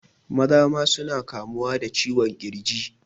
Maza ma suna kamuwa da ciwon ƙirji